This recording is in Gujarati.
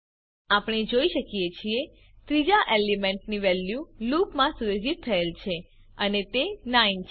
આપણે જોઈ શકીએ છીએ ત્રીજા એલિમેન્ટની વેલ્યુ લૂપ માં સુયોજિત થયેલ છે અને તે 9 છે